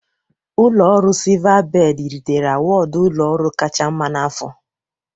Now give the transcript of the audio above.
Ụlọ ọrụ Silvabedị ritere awọdụ ụlọ ọrụ kacha mma n'afọ.